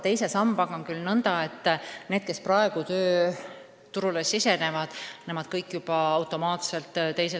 Teise sambaga on nõnda, et need, kes praegu tööturule sisenevad, liituvad kõik sellega juba automaatselt.